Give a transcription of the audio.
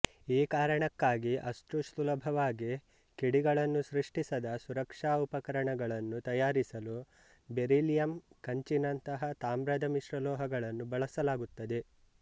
ಈ ಕಾರಣಕ್ಕಾಗಿ ಅಷ್ಟು ಸುಲಭವಾಗಿ ಕಿಡಿಗಳನ್ನು ಸೃಷ್ಟಿಸದ ಸುರಕ್ಷಾ ಉಪಕರಣಗಳನ್ನು ತಯಾರಿಸಲು ಬೆರಿಲಿಯಮ್ ಕಂಚಿನಂತಹ ತಾಮ್ರದ ಮಿಶ್ರಲೋಹಗಳನ್ನು ಬಳಸಲಾಗುತ್ತದೆ